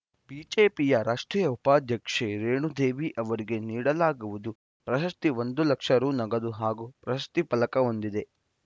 ಬಿಜೆಪಿಯ ರಾಷ್ಟ್ರೀಯ ಉಪಾಧ್ಯಕ್ಷೆ ರೇಣುದೇವಿ ಅವರಿಗೆ ನೀಡಲಾಗುವುದು ಪ್ರಶಸ್ತಿ ಒಂದು ಲಕ್ಷ ರು ನಗದು ಹಾಗೂ ಪ್ರಶಸ್ತಿ ಫಲಕ ಹೊಂದಿದೆ